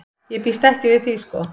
Ég býst ekki við því sko.